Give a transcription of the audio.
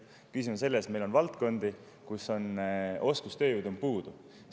Küsimus on selles, et meil on valdkondi, kus on oskustööjõudu puudu.